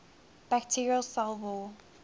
bacterial cell wall